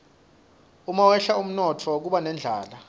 umawehla umnotfo kuba nendlala